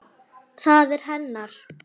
Það er hennar.